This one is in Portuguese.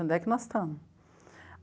Onde é que nós estamos?